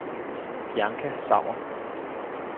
Bianca Sauer